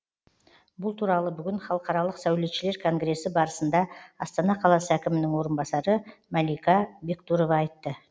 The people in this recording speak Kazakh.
бұл туралы бүгін халықаралық сәулетшілер конгресі барысында астана қаласы әкімінің орынбасары мәлика бектұрова айтты